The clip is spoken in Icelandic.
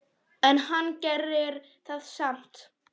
En hann gerir það samt.